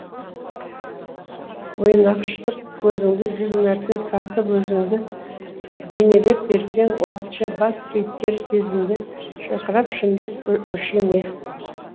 ойнақшытып көзіңді жүз мәрте сатып өзіңді бейнелеп берсең уақытша бас кейіпкер сезімді шырқырап шындық өше ме